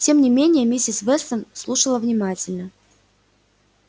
тем не менее миссис вестон слушала внимательно